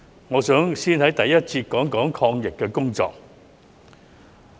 我想先在第一節討論抗疫的工作。